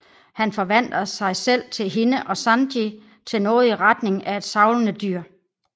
Han forvandler sig selv til hende og Sanji til noget i retning af et savlende dyr